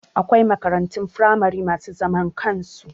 Akwai makarantun firamare masu zaman kansu